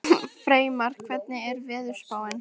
Freymar, hvernig er veðurspáin?